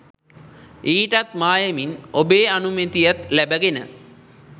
ඊටත් මායමින් ඔබේ අනුමැතියත් ලැබගෙන